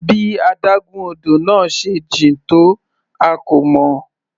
Bí adágún odò náà se jìn tó a kò mọ̀.